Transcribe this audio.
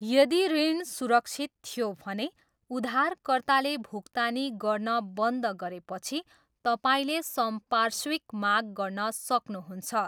यदि ऋण सुरक्षित थियो भने, उधारकर्ताले भुक्तानी गर्न बन्द गरेपछि तपाईँले संपार्श्विक माग गर्न सक्नुहुन्छ।